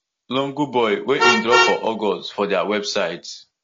lungu boy wey im drop for august for dia website